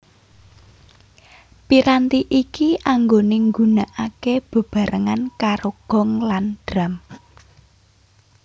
Piranti iki anggone nggunakake bebarengan karo gong lan drum